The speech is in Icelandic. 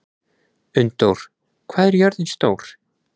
Unndór, hvað er jörðin stór?